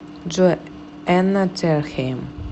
джой энна терхейм